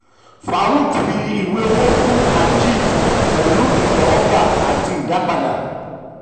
um farook fi ìwé owó fún ajit pẹ̀lú ìtẹ́wọ́gbà àti ìdápadà.